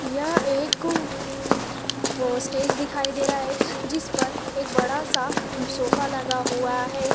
यह एक वो स्टेज दिखाई दे रहा है जिस पर एक बड़ा सा सोफा लगा हुआ है।